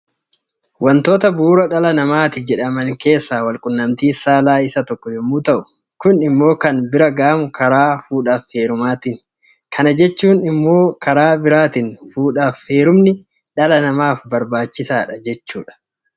Wantoota bu'uura dhala namaatti jedhama keessaa Wal quunnamtiin saalaa isa tokko yommuu ta'u, Kun immoo kan bira ga'amu karaa fuudhaaf heerumaatiini. Kana jechuun immoo karaan biraa fuudhaaf heerumni dhala namaaf barbaachisaadha jechuudha.